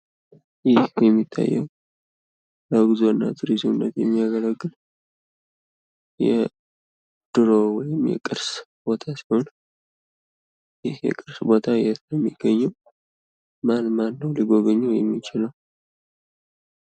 ይህ የሚታየው ብዙ ለቱሪዝምነት የሚያገለግል የድሮ ወይም የቅርስ ቦታ ሲሆን ይህ የቅርስ ቦታ የት ነው የሚገኘው? ማን ማን ነው ሊጎበኘው የሚችለው?